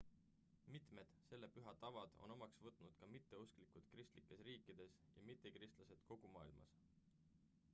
mitmed selle püha tavad on omaks võtnud ka mitteusklikud kristlikes riikides ja mittekristlased kogu maailmas